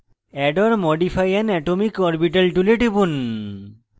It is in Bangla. add or modify an atomic orbital tool টিপুন